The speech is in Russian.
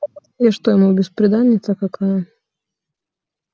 я что ему бесприданница какая